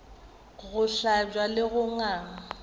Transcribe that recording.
go hlabja le go gangwa